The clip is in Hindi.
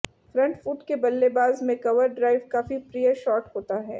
फ्रंट फूट के बल्लेबाज में कवर ड्राइव काफी प्रिय शॉट होता है